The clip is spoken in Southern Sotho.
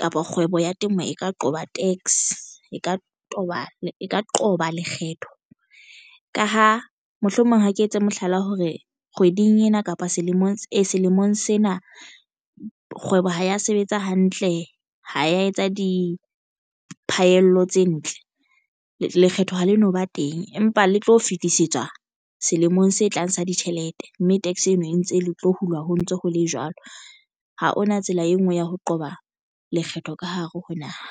kapa kgwebo ya temo e ka qoba tax e ka qoba e ka qoba lekgetho ka ha mohlomong ha ke etse mohlala hore kgweding ena kapa selemong sena kgwebo ha ya sebetsa hantle ha ya etsa diphahello tse ntle. Lekgetho ha le no ba teng empa le tlo fetisetswa selemong se tlang sa ditjhelete, mme tax eno e ntse le tlo hulwa. Ho ntso ho le jwalo ha hona tsela e nngwe ya ho qoba lekgetho ka hare ho naha.